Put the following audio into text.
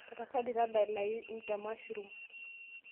tapasali tadalayu them mushrooms